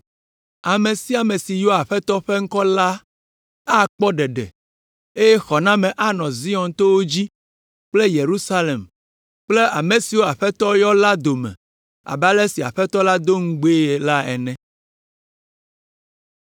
Ame sia ame si yɔa Aƒetɔ la ƒe ŋkɔa la, akpɔ ɖeɖe eye xɔname anɔ Zion towo dzi kple Yerusalem kple ame siwo Aƒetɔ yɔ la dome abe ale si Aƒetɔ la do ŋugbee la ene.